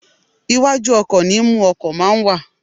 Iwájú ọkò ni imú ọkò máa ń wà